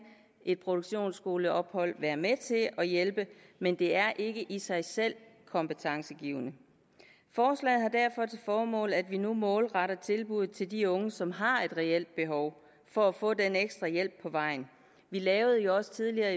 et produktionsskoleophold være med til at hjælpe men det er ikke i sig selv kompetencegivende forslaget har derfor til formål at vi nu målretter tilbud til de unge som har et reelt behov for at få den ekstra hjælp på vejen vi lavede jo også tidligere